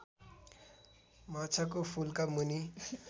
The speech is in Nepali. माछाको फुल्का मुनि